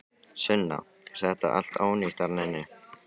Sunna: Er þetta allt ónýtt þarna inni?